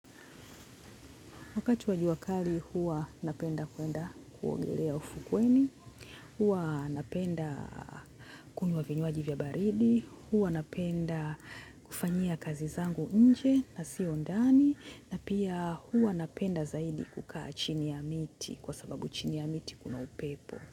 Wakati wa jua kali huwa napenda kwenda kuongelea ufukweni, huwa napenda kunywa vinywaji vya baridi, huwa napenda kufanyia kazi zangu nje na sio ndani, na pia huwa napenda zaidi kukaa chini ya mti kwa sababu chini ya mti kuna upepo.